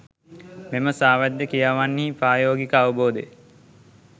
මෙම සාවද්‍ය ක්‍රියාවන්හි ප්‍රායෝගික අවබෝධය